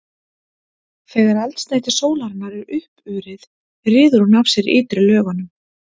þegar eldsneyti sólarinnar er uppurið ryður hún af sér ytri lögunum